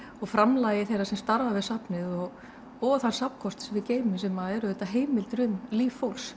framlagi þeirra sem starfa við safnið og og þann safnkost sem við geymum sem eru auðvitað heimildir um líf fólks